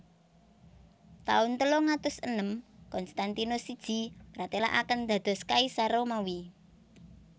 Taun telung atus enem Konstantinus siji mratèlakaken dados Kaisar Romawi